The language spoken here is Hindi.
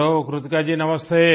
हेलो कृतिका जी नमस्ते